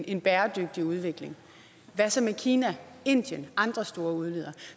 en bæredygtig udvikling hvad så med kina indien og andre store udledere